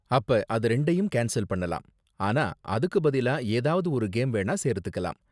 அப்ப அது ரெண்டையும் கேன்ஸல் பண்ணலாம், ஆனா அதுக்கு பதிலா ஏதாவது ஒரு கேம் வேணா சேர்த்துக்கலாம்.